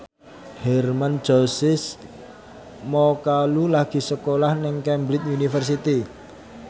Hermann Josis Mokalu lagi sekolah nang Cambridge University